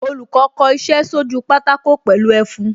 Olùkọ́ kò iṣẹ́ sójú pátákó pẹ̀lú ẹfun